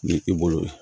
Ni i bolo ye